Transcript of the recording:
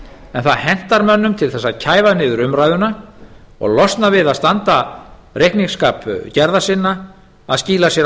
en það hentar mönnum til þess að kæfa niður umræðuna og losna við að standa reikningsskil gerða sinna að skýla sér á